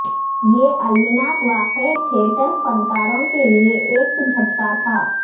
یہ المناک واقعہ تھیٹر فنکاروں کے لئے ایک جھٹکا تھا